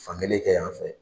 Fan kelen kɛ yan fɛ.